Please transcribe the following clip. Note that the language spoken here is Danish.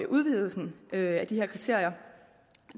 udvidelsen af de her kriterier